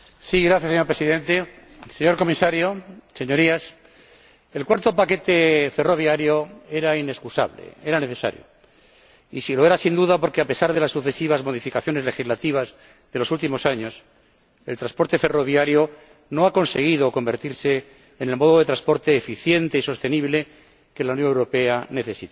Señor Presidente, señor Comisario, señorías, el cuarto paquete ferroviario era inexcusable, era necesario, y lo era, sin duda, porque, a pesar de las sucesivas modificaciones legislativas de los últimos años, el transporte ferroviario no ha conseguido convertirse en el modo de transporte eficiente y sostenible que la Unión Europea necesita.